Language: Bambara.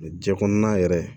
Jɛn kɔnɔn yɛrɛ